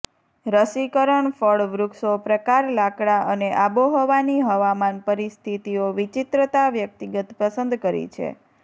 રસીકરણ ફળ વૃક્ષો પ્રકાર લાકડા અને આબોહવાની હવામાન પરિસ્થિતિઓ વિચિત્રતા વ્યક્તિગત પસંદ કરી છે